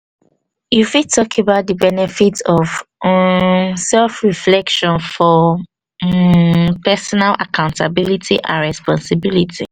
you fit tak about the benefit of um self reflection for um personal accounatablity and responsibility